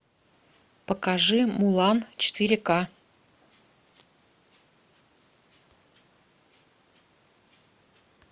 покажи мулан четыре ка